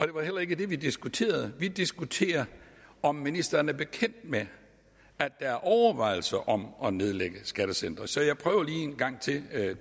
det var heller ikke det vi diskuterede vi diskuterede om ministeren er bekendt med at der er overvejelser om at nedlægge skattecentre så jeg prøver lige en gang til at